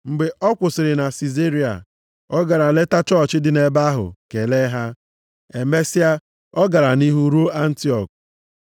Mgbe ọ kwụsịrị na Sizaria, ọ gara leta chọọchị dị nʼebe ahụ kelee ha. Emesịa, ọ gara nʼihu ruo Antiọk.